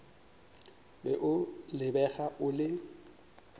be o lebega o le